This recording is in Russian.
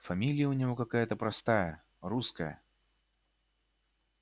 фамилия у него какая-то простая русская